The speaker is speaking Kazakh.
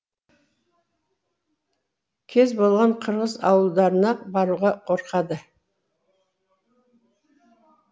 кез болған қырғыз ауылдарына баруға қорқады